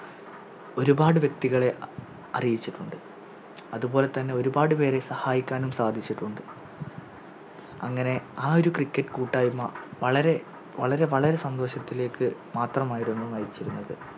ഒരുപാട് വ്യെക്തികളെ അറിയിച്ചിട്ടുണ്ട് അത്പോലെതന്നെ ഒരുപാട് പേരെ സഹായിക്കാനും സാധിച്ചിട്ടുണ്ട് അങ്ങനെ ആ ഒരു Cricket കൂട്ടായ്മ വളരെ വളരെ വളരെ സന്തോഷത്തിലേക്ക് മാത്രമായിരുന്നു നയിച്ചിരുന്നത്